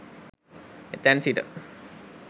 එතැන් සිට